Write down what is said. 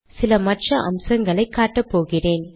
சில மற்ற அம்சங்களை காட்டப்போகிறேன்